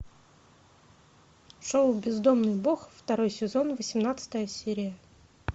шоу бездомный бог второй сезон восемнадцатая серия